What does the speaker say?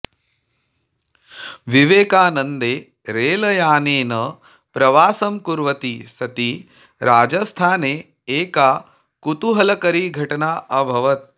विवेकानन्दे रेलयानेन प्रवासं कुर्वति सति राजस्थाने एका कुतूहलकरी घटना अभवत्